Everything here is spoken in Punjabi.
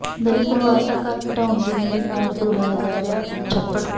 ਦਲਿਤ ਪਰਿਵਾਰ ਦਾ ਘਰ ਢਾਉਣ ਦੀ ਨੀਅਤ ਨਾਲ ਖੁਦਵਾਇਆ ਜਾ ਰਿਹਾ ਛੱਪੜ